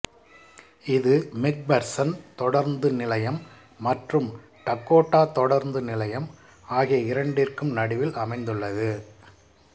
இது மெக்பர்சன் தொடருந்து நிலையம் மற்றும் டகோட்டா தொடருந்து நிலையம் ஆகிய இரண்டிற்கும் நடுவில் அமைந்துள்ளது